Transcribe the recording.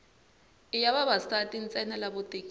i ya vavasati ntsena lavo tekiwa